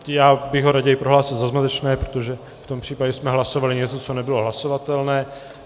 Já bych ho raději prohlásil za zmatečné, protože v tom případě jsme hlasovali něco, co nebylo hlasovatelné.